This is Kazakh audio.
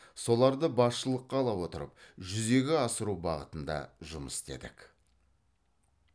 соларды басшылыққа ала отырып жүзеге асыру бағытында жұмыс істедік